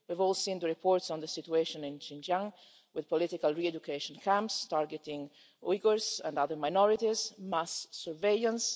We've all seen the reports on the situation in Xinjiang, with political re education camps targeting Uyghurs and other minorities mass surveillance